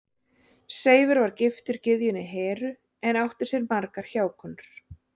Seifur var giftur gyðjunni Heru en átti sér margar hjákonur.